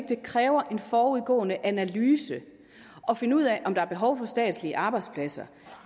det kræver en forudgående analyse at finde ud af om der er behov for statslige arbejdspladser